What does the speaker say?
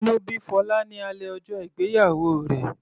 Inú bí Fola ní alẹ́ ọjọ́ ìgbéyàwó rẹ̀.